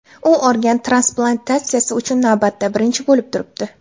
U organ transplantatsiyasi uchun navbatda birinchi bo‘lib turibdi.